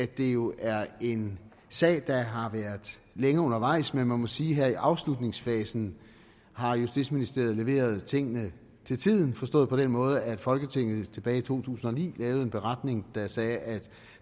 det jo er en sag der har været længe undervejs men man må sige at her i afslutningsfasen har justitsministeriet leveret tingene til tiden forstået på den måde at folketinget tilbage i to tusind og ni lavede en beretning der sagde at